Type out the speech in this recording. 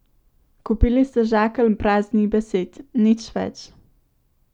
Kupili ste žakelj praznih besed, nič več.